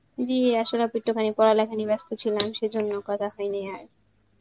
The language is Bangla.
Hindi আসলে একটুখানি পড়াশোনা নিয়ে ব্যাস্ত ছিলাম সেই জন্য করা হয়েনি আর